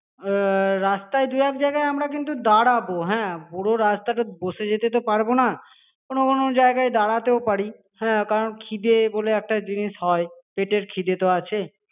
রাস্তায় দু এক জায়গায় আমরা কিন্তু দাঁড়াবো হ্যা পুরো রাস্তাটা বসে যেতে তো পারবো না কোনো কোনো জায়গাতে দাঁড়াতেও পারি হ্যা কারণ খিদে বলে একটা জিনিস হয় পেটের খিদে তো আছে